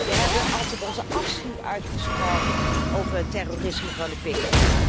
Wij hebben altijd onze afschuw uitgesproken over het terrorisme van de PKK.